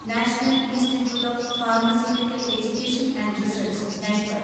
national institute of pharmaceutical education and research (NIPER)